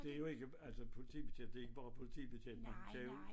Det jo ikke altså politibetjent det ikke bare politibetjent man kan jo